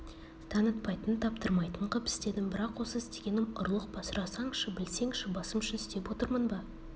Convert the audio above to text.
танытпайтын таптырмайтын қып істедім бірақ осы істегенім ұрлық па сұрасаңшы білсеңші басым үшін істеп отырмын ба